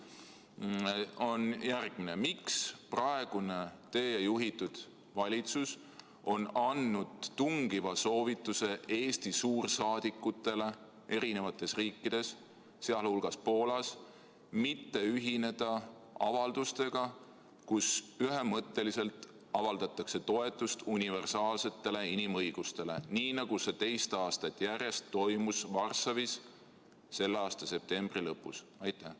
Küsimus on järgmine: miks praegune teie juhitud valitsus on andnud tungiva soovituse Eesti suursaadikutele erinevates riikides, sh Poolas, mitte ühineda avaldustega, kus ühemõtteliselt avaldatakse toetust universaalsetele inimõigustele, nii nagu see teist aastat järjest toimus Varssavis selle aasta septembri lõpus?